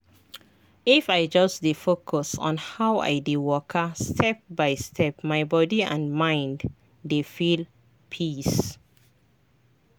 if i just dey focus on how i dey waka step by step my body and mind dey feel peace.